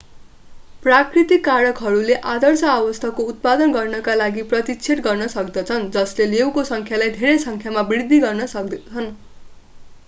प्राकृतिक कारकहरूले आदर्श अवस्थाको उत्पादन गर्नका लागि प्रतिच्छेद गर्न सक्दछन् जसले लेउको संख्यालाई धेरै संख्यामा वृद्धि गर्न दिन्छन्